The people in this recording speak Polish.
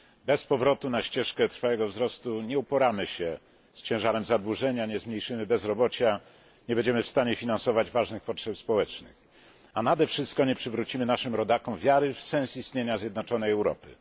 Bez powrotu na ścieżkę trwałego wzrostu nie uporamy się z ciężarem zadłużenia, nie zmniejszymy bezrobocia, nie będziemy w stanie finansować ważnych potrzeb społecznych, a nade wszystko nie przywrócimy naszym rodakom wiary w sens istnienia zjednoczonej Europy.